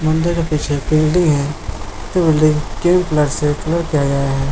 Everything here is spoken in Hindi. मंदिर पीछे बिल्डिंग है ये बिल्डिंग गेरू कलर से कलर किया गया है।